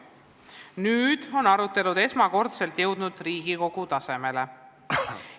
Nüüd on arutelud jõudnud esmakordselt ka Riigikogu tasemele.